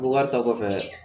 Buwari ta kɔfɛ